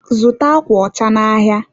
zụta akwa ọcha n'ahịa!